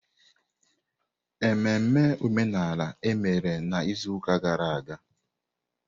Ememme omenala emere n'izuụka gara aga?